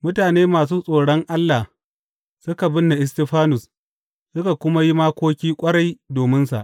Mutane masu tsoron Allah suka binne Istifanus suka kuma yi makoki ƙwarai dominsa.